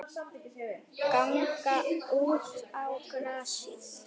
Ganga út á grasið.